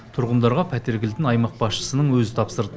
тұрғындарға пәтер кілтін аймақ басшысының өзі тапсырды